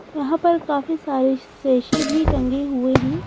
यहाँ पर काफी सारे सेसे भी टंगे हुए हैं।